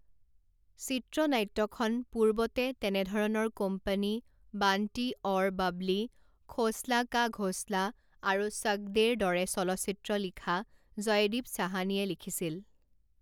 চিত্ৰনাট্যখন পূৰ্বতে তেনেধৰণৰ কোম্পানী বাণ্টী ঔৰ বাবলি খ'ছলা কা ঘ'ছলা আৰু চক দে'ৰ দৰে চলচ্চিত্ৰ লিখা জয়দীপ চাহানীয়ে লিখিছিল